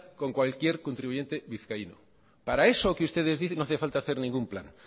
con cualquier contribuyente vizcaíno para eso que ustedes dicen no hace falta hacer ningún plan